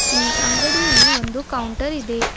ಈ ಅಂಗಡಿಯಲ್ಲಿ ಒಂದು ಕೌಂಟರ್ ಇದೆ.